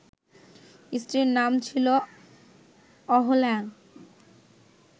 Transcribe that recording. স্ত্রীর নাম ছিল অহল্যা